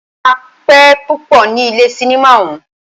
A pẹ́ púpọ ní ilé cinimá ọ̀ún.